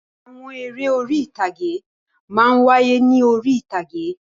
Àwọn eré orí-ìtàgé máa ń wáyé ní orí-ìtàgé.